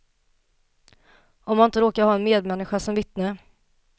Om man inte råkar ha en medmänniska som vittne.